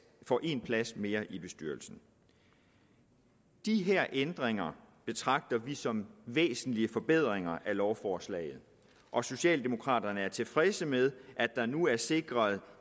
får en plads mere i bestyrelsen de her ændringer betragter vi som væsentlige forbedringer af lovforslaget og socialdemokraterne er tilfredse med at der nu er sikret